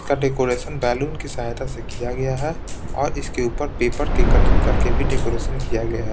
इसका decoration balloon की सहायता से किया गया है और इसके ऊपर पेपर के कटिंग करके भी डेकोरेशन किया गया है।